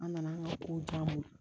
An nana an ka kow diyagoya